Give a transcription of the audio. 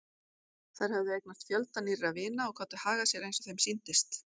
Þær höfðu eignast fjölda nýrra vina og gátu hagað sér eins og þeim sýndist.